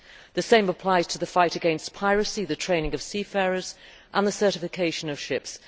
The same applies to the fight against piracy, the training of seafarers and the certification of ships.